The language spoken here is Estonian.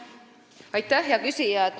Aitäh, hea küsija!